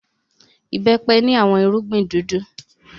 Ìbẹ́pẹ ni awọn irugbin dudu